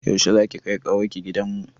Yaushe za ki kai ƙawar ki gidan mu?